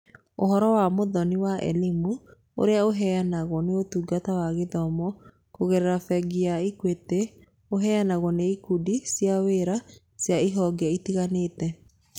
Ũhoro wa Mũhothi wa Elimu, ũrĩa ũheanagwo nĩ Ũtungata wa Gĩthomo kũgerera Bengi ya Equity, ũheanagwo nĩ ikundi cia wĩra cia honge itiganĩte.